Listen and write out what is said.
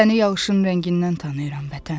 Səni yağışın rəngindən tanıyıram vətən.